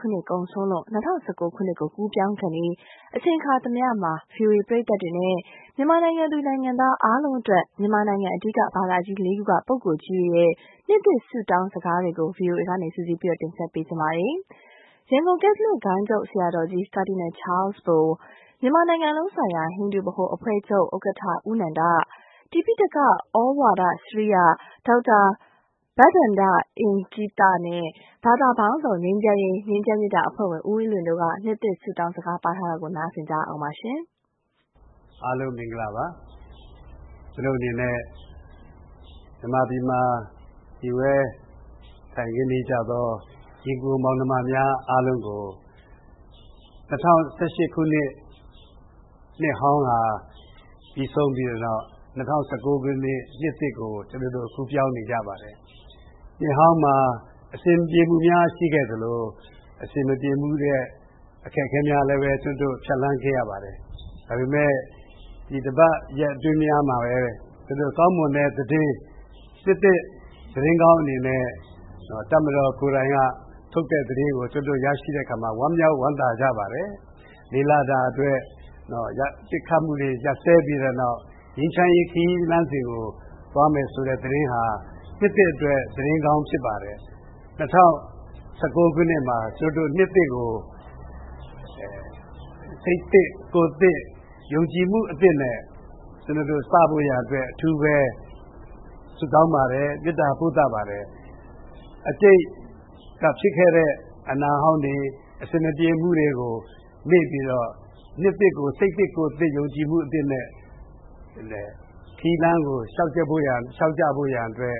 ခုနှစ်ကုန်ဆုံးလို့ ၂၀၁၉ ခုနှစ်ကို ကူးပြောင်းခါနီး အခါသမယမှာ ဗွီအိုအေပရိသတ်များနဲ့ မြန်မာနိုင်ငံသူ နိုင်ငံသားအားလုံးအတွက် မြန်မာနိုင်ငံ အဓိက ဘာသာကြီးလေးခုမှ ပုဂ္ဂိုလ်ကြီးများရဲ့ နှစ်သစ်ဆုတောင်းစကားများကို ဗွီအိုအေက စုစည်း တင်ဆက်ပေးလိုက်ပါတယ်။ ရန်ကုန် ကက်သလစ် ဂိုဏ်းချုပ်ဆရာတော်ကြီး ကာဒီနယ်ချားလ်စ်ဘို ၊ မြန်မာနိုင်ငံလုံးဆိုင်ရာ ဟိန္ဒူဗဟိုအဖွဲ့ချုပ် ဦး နန္ဒ ၊ တိပိဋကသြဝါဒစရိယက ဒေါက်တာဘဒ္ဒန ္တအင်္ဂ ိသ နဲ့ ဘာသာပေါင်းစုံ ငြိမ်းချမ်းရေး အဖွဲ့ဝင် ဦးအေးလွင် တို့က နှစ်သစ်စကားပါးထားတာကို နားဆင်ရအောင်ပါ။ ရန်ကုန် ကက်သလစ် ဂိုဏ်းချုပ်ဆရာတော်ကြီး ကာဒီနယ်ချားလ်စ်ဘိုက အားလုံး မင်္ဂလာပါ ကျနော့်အနေနဲ့ မြန်မာပြည်မှာ မှီတင်းနေထိုင်ကြသော ညီအကို မောင်နှမများအားလုံးကို ၂၀၁၈ ခုနှစ် နှစ်ဟောင်းပြီးဆုံးပြီးတဲ့နောက် ၂၀၁၉ ခုနှစ် နှစ်သစ်ကို ကူးပြောင်းနေကြပါတယ်။ နှစ်ဟောင်းမှာ အဆင်မပြေမှုများ ရှိခဲ့သလို၊ အဆင်မပြေမှုအခက်အခဲများလည်း ကျနော်တု့ိ ဖြတ်သန်းခဲ့ရပါတယ်။ ဒါပေမယ့် ဒီတပတ် ရက်အတွင်းမှာပဲ ကျနော်တို့ ကောင်းမွန်တဲ့သတင်း နှစ်သစ် သတင်းကောင်းအနေနဲ့ တပ်မတော်ကိုယ်တိုင် ထုတ်တဲ့သတင်းကို ရရှိတဲ့အခါမှာ ကျနော်တို့ ဝမ်းသာဝမ်းမြောက်ကြပါတယ်။ ၄ လ ပစ်ခတ်မှုတွေ ရပ်စဲပြီးတဲ့နောက် ငြိမ်းချမ်းရေးခရီးလစ်းစဉ်ကို သွားမယ်ဆိုတဲ့သတင်းဟာ နှစ်သစ်အတွက် သတင်းကောင်းဖြစ်ပါတယ်။ ၂၀၁၉ ခုနှစ်မှာ နှစ်သစ်ကို စိတ်သစ် ကိုယ်သစ် ၊ ယုံကြည်မှု အသစ်နဲ့ ကျနော်တို့ စဖို့ရန်အတွက် အထူးဆုတောင်းပါတယ်၊ မေတ္တာ ပို့သပါတယ်။ အတိတ်က ဖြစ်ခဲ့တဲ့ အနာဟောင်းတွေ ၊ အဆင်မပြေမှုတွေကို မေ့ပြီးတော့ နှစ်သစ်ကို စိတ်သစ် ကိုယ်သစ် ၊ ယုံကြည်မှု အသစ်နဲ့ ခရီးလမ်းကို လျောက်ကြဖို့ရန်အတွက်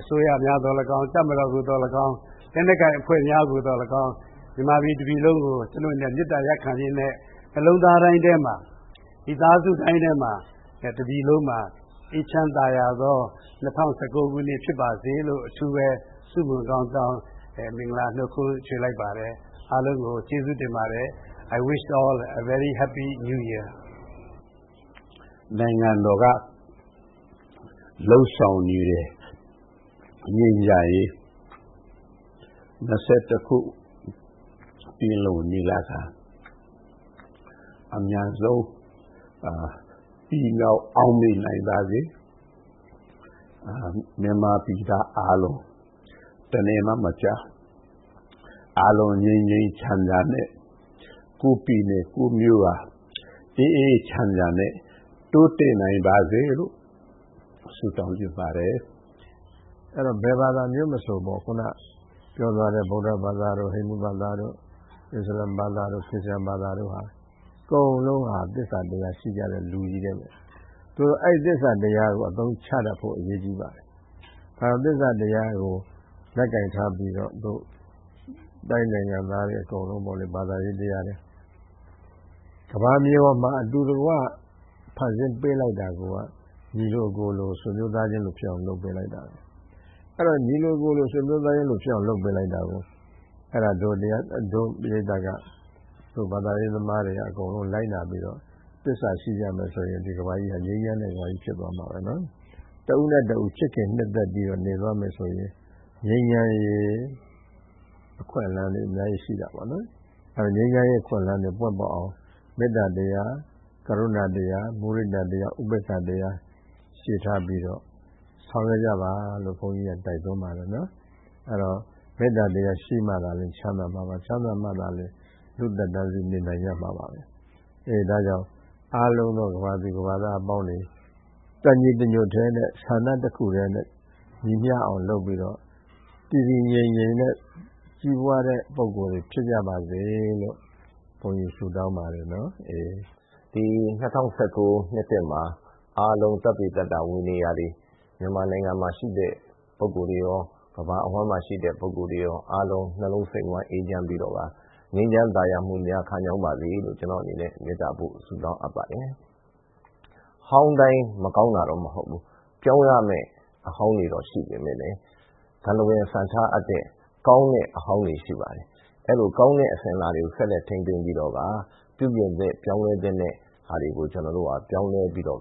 အစိုးရသော်လည်းကောင်း၊ တပ်မတော် ကိုသော်လည်းကောင်း၊ လက်နက်ကိုင်အဖွဲ့များကို သော်လည်းကောင်း၊ မြန်မာပြည်တပြည်လုံးကို ကျနော့်အနေနဲ့ မေတ္တာရပ်ခံရင်းနဲ့ နှစ်လုံးသားတိုင်းထဲမှာ မိသားစုတိုင်းထဲမှာ တပြည်လုံးမှာ အေးချမ်းသာယာသော ၂၀၁၉ ခုနှစ်ဖြစ်ပါစေလို့ အထူးဆုမွန်ကောင်းတောင်း မင်္ဂလာနှတ်ခွန်းဆက်လိုက်ပါတယ် အားလုံးကို ကျေးဇူးတင်ပါတယ်။ I wish all a very Happy New Year မြန်မာနိုင်ငံလုံးဆိုင်ရာ ဟိန္ဒူဗဟိုအဖွဲ့ချုပ် ဦး နန္ဒ က “ နိုင်ငံတော်က လုပ်ဆောင် နေတဲ့ ငြိမ်းချမ်းရေး ၂၁ ရာစုပင်လုံညီလာခံ အမြန်ဆုံးပြီး မြောက်အောင်မြင်နိုင်ပါစေ။ မြန်မာပြည်သားအားလုံး တနယ်မှ မကျန်အားလုံး ငြိမ်းငြိမ်းချမ်းချမ်းနဲ့ ကိုယ့်ပြည်နယ် ကိုယ့်မြို့က အေးအေးချမ်းချမ်းနဲ့ တိုးတက်နိုင်ပါစေလို့ ဆုတောင်းချင်ပါတယ်။ တိပိဋကသြဝါဒစရိယက ဒေါက်တာဘဒ္ဒန ္တအင်္ဂ ိသ က တော့ “ အဲဒီတော့ ဘယ်ဘာသာမျိုးမဆို ခုနပြောသွားတဲ့ ဗုဒ္ဒဘာသာ တို့ ဟိန္ဒူဘာသာတို့ မွတ်ဆလင်ဘာသာတို့ အစ္စလာမ်ဘာသာတို့ ခရစ်ယာန်ဘာသာတို့ အကုန်လုံးဟာ သစ္စာတရားရှိကြတဲ့လူတွေနဲ့ ပဲ ။ အဲဒီ သစ္စာတရားကို အသုံးချတတ်ဖို့ အရေးကြီးပါတယ်။ နောက်ပြီး သစ္စာတရားကို လက်ကိုင်ထားပြီးတော့ နိုင်ငံသားတွေအကုန်လုံးပေါ့လေ ဘာသာတရားတွေ ကမ္ဘာမြေပေါ်မှာ အတူတကွ ဖန်ဆင်းပေးလိုက်တာကိုယ်က ညီလိုအကိုလို ဆွေမျိုးသားချင်းလိုဖြစ်အောင် လုပ်ပေးလိုက်တာပဲ။ ညီလိုအကိုလို ဆွေမျိုးသားချင်းလိုဖြစ်အောင် လုပ်ပေးလိုက်တာ ကိုက တို့ ပရိတ်သတ်က ဘာသာရေးသမားတွေက အကုန်လုံးကို လိုက်နာပြီးတော့ သစ္စာရှိကြမယ်ဆိုရင် ဒီကမ္ဘာကြီးဟာ ငြိမ်းချမ်းတဲ့ ကမ္ဘာကြီး ဖြစ်သွားမှာပဲ ။ တဦးနဲ့ တဦး ချစ်ခင်နှစ်သက်ပြီးတော့ နေသွားမယ်ဆိုရင် ငြိမ်းချမ်းရေးအခွင့်အလမ်းတွေ အများကြီးရှိတာပေါ့နော်။ ငြိမ်းချမ်းရေးအခွင့်အလမ်းတွေ ပွင့်လာအောင် မေတ္တာတရား ဂရုဏာတရား မုဒိတာတရား ဥပက္ခာတရား တွေထားပြီးတော့ ဆောင်ရွက်ကြပါလို့ ဘုန်းကြီးက တိုက်တွန်းပါတယ်။ အဲဒီတော့ မေတ္တာတရား ရှိမှ ချမ်းသာမှာပါ၊ ချမ်းသာမှ လူ့သက်တမ်းစေ့နေနိုင်ကြမှာပါ။ ဒါကြောင့် အားလုံးသော ကမ္ဘာသူ ကမ္ဘာသားအပေါင်းတွေ တညီတညွှတ်ထဲနဲ့ ဆန္ဒတခုတည်းနဲ့ ညီမျှအောင်လုပ်ပြီးတော့ တည်တည်ငြိမ်ငြိမ်နဲ့ ကြီးပွားတဲ့ ပုဂ္ဂိုလ် တွေဖြစ်ကြပါစေလို့ ဘုန်းကြီး ဆုတောင်းပါတယ်။” ဘာသာပေါင်းစုံ ငြိမ်းချမ်းရေး အဖွဲ့ဝင် ဦးအေးလွင် “ဒီ ၂၀၁၉ နှစ်သစ်မှာ အားလုံးမြန်မာနိုင်ငံမှာ ရှိတဲ့ ပုဂ္ဂိုလ် တွေရော ကမ္ဘာအဝှမ်းမှာရှိတဲ့ပုဂ္ဂိုလ် တွေရော အားလုံး နှစ်လုံးစိတ်ဝှမ်း အေးချမ်းပြီးတော့ ငြိမ်းချမ်းသာယာပါစေလို့ ကျနော့်အနေနဲ့ မေတ္တာပို့ ဆုတောင်းပါတယ်။ဟောင်းတိုင်း မကောင်းတာတော့မဟုတ်ဘူး။ ပြောင်းရမယ့်အဟောင်းတွေတော့ရှိတယ် ဒါပေမယ့်လည်း စံထားအပ်တဲ့ ကောင်းတဲ့အဟောင်းတွေရှိပါတယ်။ အဲလို ကောင်းတဲ့ အစဉ်အလာတွေကို ဆက်လက်ထိန်းသိမ်းပြီးတော့ ပြုပြင်သင့် ပြောင်းလဲသင့်တဲ့ ဟာတွေကို ပြောင်းလဲပြီးတော့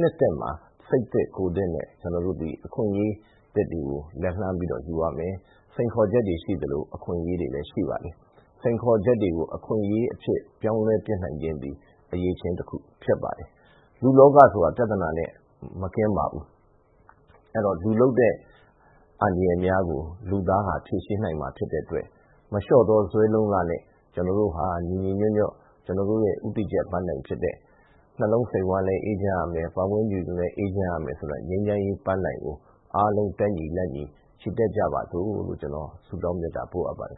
နှစ်သစ်မှာ စိတ်သစ် ကိုယ်သစ်နဲ့ ကျနော်တို့သည် အခွင့်အရေးသစ်တွေကို လက်လှမ်းပြီးတော့ ယူရမယ် စိန်ခေါ်ချက်တွေကို ရှိသလို အခွင့်အရေးတွေလည်းရှိပါတယ်။ စိန်ခေါ်ချက်တွေကို အခွင့်အရေးအဖြစ် ပြောင်းလဲပစ်နိုင်ခြင်းသည် အရည်အချင်းတခုဖြစ်ပါတယ်။ လူ့လောကဆိုတာ ပြဿနာနဲ့ မကင်းပါဘူး။ အဲဒီတော့ လူလုပ်တဲ့ အန္တရာယ်များ ကို လူသားဟာ ဖြေရှင်းနိုင်မှာ ဖြစ်တဲ့အတွက် မလျော့သော ဇွဲလုံလနဲ့ ကျနော်တို့ဟာ ညီညီညွှတ်ညွတ်နဲ့ ကျနော်တို့ ဦးတည်ချက် ပန်းတိုင်ဖြစ်တဲ့ နှလုံးစိတ်ဝမ်းလည်းအေးချမ်းရမယ်၊ ပတ်ဝန်းကျင်လည်း အေးချမ်းရမယ် ဆိုတာ ငြိမ်းချမ်းရေးပန်းတိုင်ကို အားလုံး တက်ညီလက်ညီ ချီတက်ကြပါစို့လို့ ကျနော် ဆုတောင်းမေတ္တာပို့အပ်ပါတယ်